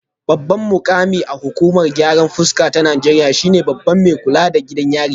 Babban mukami a hukumar gyaran fuska ta Najeriya shine babban mai kula da gidajen yari